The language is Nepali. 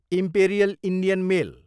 imperial Indian mail